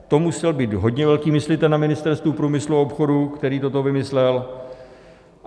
To musel být hodně velký myslitel na Ministerstvu průmyslu a obchodu, který toto vymyslel!